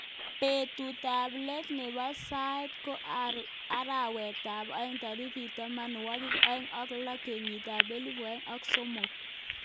Betut ab let nebo saet ko arawet ab aeng tarik tamanwakik aeng ak lo kenyit ab elibu aeng ak sokol.